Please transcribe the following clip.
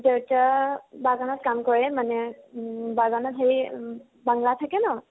দেউতা বাগানত কাম কৰে মানে উম বাগানত হেই বাংলা থাকে ন